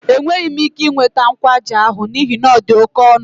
Enweghị m ike ị nweta kwaaji ahụ n'ihi na ọ dị oke ọnụ.